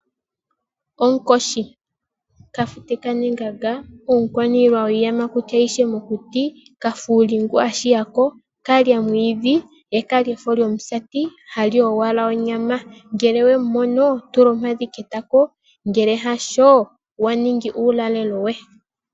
Onkoshi, kafute kanengenga, omukwaniilwa gwiiyamakuti ayihe mokuti, kafuuli ngu ashigako, kalya omwiidhi, ye kalya efo lyomusati, ohali owala onyama. Ngele owumu mono, tula ompadhi ketako, ngele hasho, waningi uulalelo we.